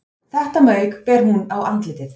Þetta mauk ber hún á andlitið